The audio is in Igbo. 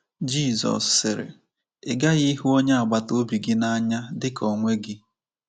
Jizọs sịrị: “Ị ghaghị ịhụ onye agbata obi gị n’anya dị ka onwe gị."